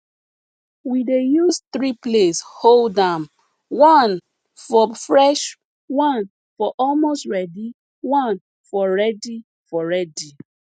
we dey use three place hold am one for fresh one for almost ready one for ready for ready